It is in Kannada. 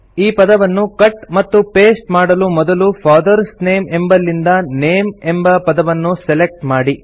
ಈ ಪದವನ್ನು ಕಟ್ ಮತ್ತು ಪಾಸ್ಟೆ ಮಾಡಲು ಮೊದಲು ಫಾದರ್ಸ್ ನೇಮ್ ಎಂಬಲ್ಲಿಂದ ನೇಮ್ ಎಂಬ ಪದವನ್ನು ಸೆಲೆಕ್ಟ್ ಮಾಡಿ